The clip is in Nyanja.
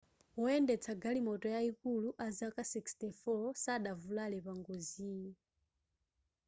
woyendetsa galimoto yayikulu azaka 64 sadavulare pangoziyi